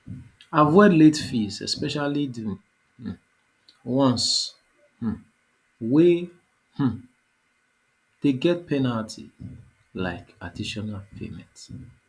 avoid late fees especially di um ones um wey um dey get penalty like additional payment